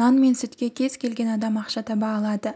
нан мен сүтке кез келген адам ақша таба алады